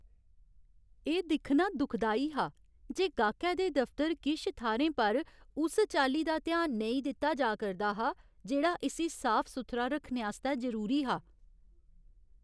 एह् दिक्खना दुखदाई हा जे गाह्कै दे दफतर किश थाह्रें पर उस चाल्ली दा ध्यान नेईं दित्ता जा करदा हा जेह्ड़ा इस्सी साफ सुथरा रक्खने आस्तै जरूरी हा।